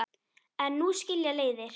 En nú skilja leiðir.